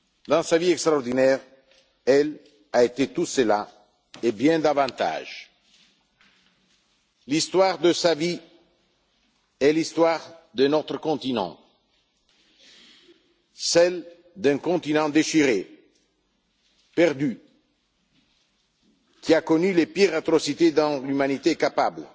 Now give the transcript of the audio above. Dans sa vie extraordinaire, elle a été tout cela et bien davantage. L'histoire de sa vie est l'histoire de notre continent, celle d'un continent déchiré, perdu, qui a connu les pires atrocités dont l'humanité est capable,